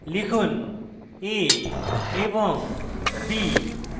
লিখুন> a এবং> b